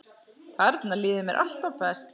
Þarna líður mér alltaf best.